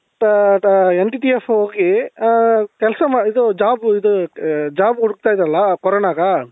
NTTF ಹೋಗಿ ಹ ಕೆಲಸ ಮಾಡಿ ಇದು job ಇದು job ಹುಡುಕ್ತಾ ಇದ್ನಲ್ಲ coronaಗ